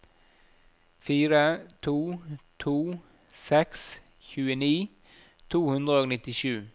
fire to to seks tjueni to hundre og nittisju